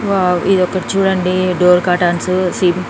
Wow ఇది ఒకటి చూడండి డోర్ కర్టెన్సు --.